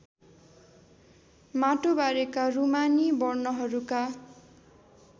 माटोबारेको रूमानी वर्णनहरूका